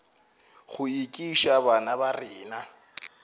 go ekiša bana ba rena